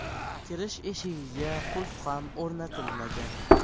Kirish eshigiga qulf ham o‘rnatilmagan.